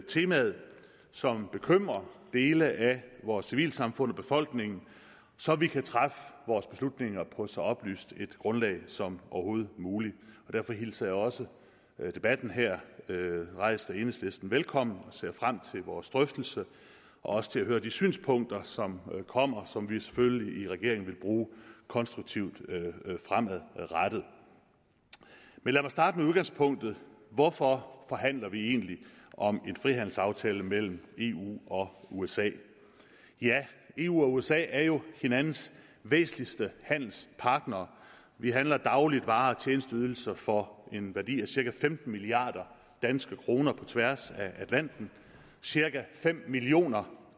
temaet som bekymrer dele af vores civilsamfund og befolkningen så vi kan træffe vores beslutninger på så oplyst et grundlag som overhovedet muligt derfor hilser jeg også debatten her rejst af enhedslisten velkommen og ser frem til vores drøftelse og også til at høre de synspunkter som kommer og som vi selvfølgelig i regeringen vil bruge konstruktivt fremadrettet men lad mig starte med udgangspunktet hvorfor forhandler vi egentlig om en frihandelsaftale mellem eu og usa ja eu og usa er jo hinandens væsentligste handelspartnere vi handler dagligt varer og tjenesteydelser for en værdi af cirka femten milliard danske kroner på tværs af atlanten cirka fem millioner